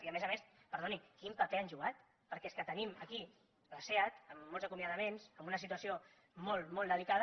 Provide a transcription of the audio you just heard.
i a més a més perdoni quin paper han jugat perquè és que tenim aquí la seat amb molts acomiadaments amb una situació molt molt delicada